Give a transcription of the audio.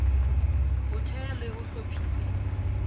ho thea le ho hlophisetsa